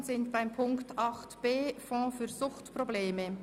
Wir sind beim Themenblock 8.b angelangt, dem Fonds für Suchtprobleme.